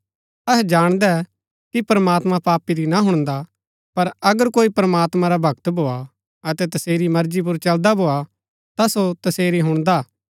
अहै जाणदै कि प्रमात्मां पापी री ना हुणदा पर अगर कोई प्रमात्मां रा भक्त भोआ अतै तसेरी मर्जी पुर चलदा भोआ ता सो तसेरी हुणदा हा